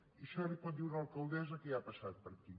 i això li ho pot dir una alcaldessa que hi ha passat per aquí